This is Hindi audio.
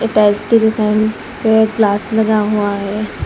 टाइल्स की दुकान पे ग्लास लगा हुआ है।